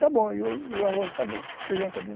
Está bom, e o arroz está bom, o feijão está bom.